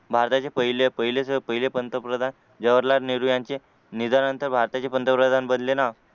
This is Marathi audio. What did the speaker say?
भारताचे पहिले पहिले पंतप्रधान जवाहरलाल नेहरू यांचे निधनानंतर भारताचे पंतप्रधान बनले ना